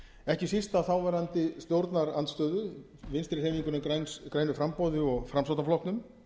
ekki síst af þáverandi stjórnarandstöðu vinstri hreyfingunni grænu framboði og framsóknarflokknum